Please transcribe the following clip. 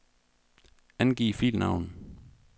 Angiv filnavn.